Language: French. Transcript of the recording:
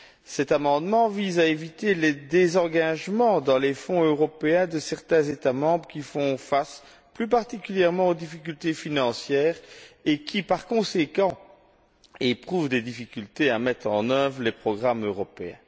Cet amendement vise à éviter les désengagements, dans les Fonds européens, de certains États membres qui font face, plus particulièrement, aux difficultés financières et qui, par conséquent, éprouvent des difficultés à mettre en œuvre les programmes européens.